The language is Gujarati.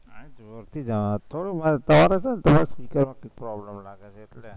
અયા જોરથી તારે problem લાગે છે એટલે